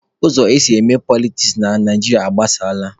Ụzọ esi eme politiks na Naijiria agbasaala.